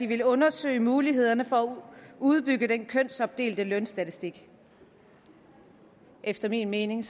ville undersøge mulighederne for at udbygge den kønsopdelte lønstatistik efter min mening